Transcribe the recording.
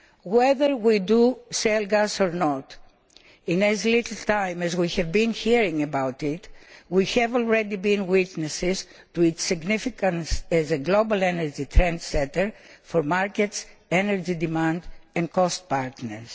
Whether we use shale gas or not, in as little time as we have been hearing about it we have already been witnesses to its significance as a global energy trendsetter for markets, energy demand and cost partners.